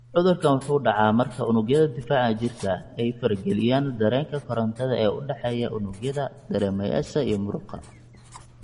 Cudurkaan wuxuu dhacaa marka unugyada difaaca jirka ay farageliyaan dareenka korantada ee u dhexeeya unugyada dareemayaasha iyo muruqa.